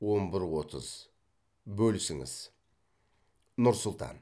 он бір отыз бөлісіңіз нұр сұлтан